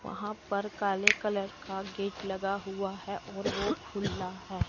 वहां पर काले कलर का गेट लगा हुआ है और वो खुला है।